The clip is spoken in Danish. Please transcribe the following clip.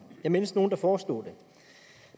jeg mindes nogen der foreslog det